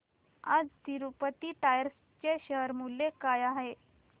आज तिरूपती टायर्स चे शेअर मूल्य काय आहे